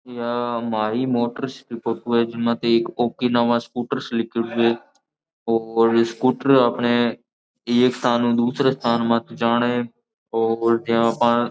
यहाँ माहि मोटर्स की फोटो है जिनमे देख ओकिनावा स्कूटर्स लीखेड़ो है और स्कूटर अपने एक स्थानु दूसरे स्थान मा जाने और जिया आपा --